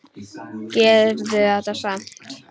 Gerðu þetta samt.